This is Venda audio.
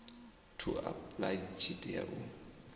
to apply tshi tea u